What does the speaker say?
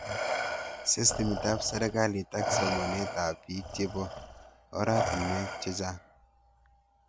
Systemit ab serikalit ak somanet ab piik chepo oratinwek chechang'